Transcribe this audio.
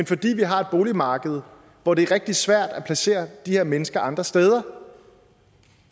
fordi vi har et boligmarked hvor det er rigtig svært at placere de her mennesker andre steder